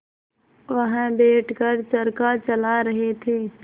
वह बैठ कर चरखा चला रहे थे